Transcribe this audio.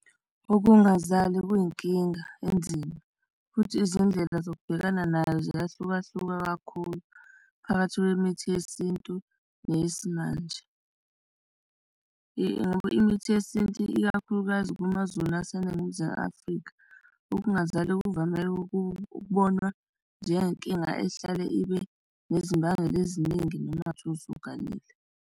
Ukungazali kuyinkinga enzima futhi izindlela zokubhekana nayo ziyahlukahluka kakhulu phakathi kwemithi yesintu neyesimanje, ngoba imithi yesintu, ikakhulukazi kumaZulu la aseNingizimu Afrika ukungazali kuvame ukubonwa njengenkinga ehlale ibe nezimbangela eziningi noma ngathiwa usuganile.